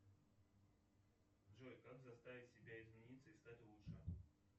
джой как заставить себя измениться и стать лучше